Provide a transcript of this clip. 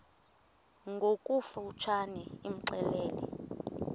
ngokofu tshane imxelele